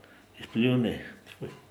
Izpljuni.